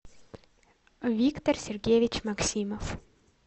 виктор сергеевич максимов